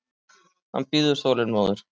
Hann bíður þolinmóður.